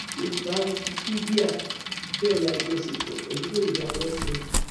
yorùbá wikipedia bẹrẹ àjọṣepọ pẹlú yorùbá world centre